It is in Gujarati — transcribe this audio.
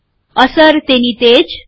અસર તે ની તેજ છે